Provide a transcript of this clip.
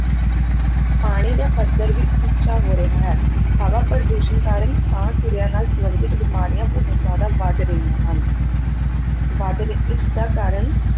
ਪਾਣੀ ਦਾ ਪੱਧਰ ਵੀ ਉੱਚਾ ਹੋ ਰਿਹਾ ਹੈ, ਹਵਾ ਪ੍ਰਦੂਸ਼ਣ ਕਾਰਨ ਸਾਹ ਕਿਰਿਆ ਨਾਲ ਸੰਬੰਧਿਤ ਬਿਮਾਰੀਆਂ ਬਹੁਤ ਜ਼ਿਆਦਾ ਵੱਧ ਰਹੀਆਂ ਹਨ ਵੱਧ ਰਹੀ, ਇਸਦਾ ਕਾਰਨ